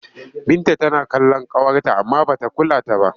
Binta tana kallon ƙawarta amma ba ta kula ta ba.